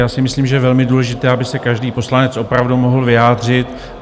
Já si myslím, že je velmi důležité, aby se každý poslanec opravdu mohl vyjádřit.